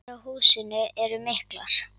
Skemmdir á húsinu eru miklar.